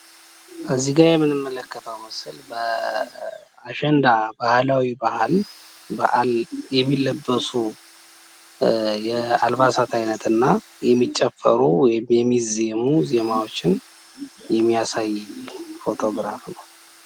እዚጋ የምንመለከተው ስእል በአሸንዳ ባህላዊ በአል የሚለበሱ አልባሳት አይነት እና የሚጨፈሩ ወይም የሚዜሙ ዜማዎችን የሚያሳይ ፎቶግራፍ ነው።